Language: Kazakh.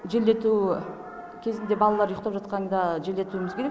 желдету кезінде балалар ұйықтап жатқанда желдетуіміз керек